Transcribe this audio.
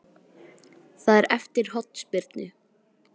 Það er eftir hornspyrnu.